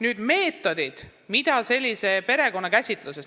Nüüd meetoditest perekonna käsitluses.